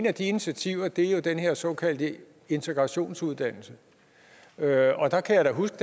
af de initiativer er jo den her såkaldte integrationsuddannelse og jeg kan da huske